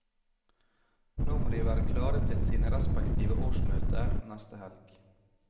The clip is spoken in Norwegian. Nå må de være klare til sine respektive årsmøter neste helg.